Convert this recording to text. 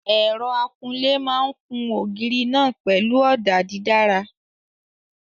Ẹ̀rọ akunlé máa kun ògiri náà pẹ̀lú ọ̀dà dídára.